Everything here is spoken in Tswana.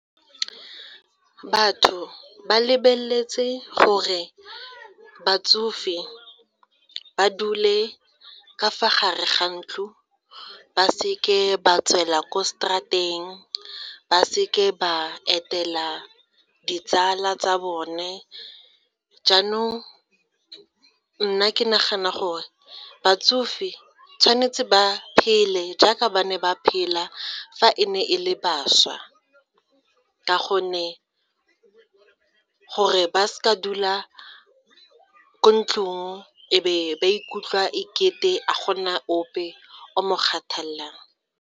Batho ba lebeletse gore batsofe ba dule ka fa gare ga ntlo ba se ke ba tswela kwa straat-eng ba se ke ba etela ditsala tsa bone, jaanong nna ke nagana gore batsofe di tshwanetse ba phele jaaka ba ne ba phela fa e ne e le bašwa, ka gonne gore ba se ka dula ko ntlong e be ba ikutlwa e kete a gona ope o mo kgathalelang.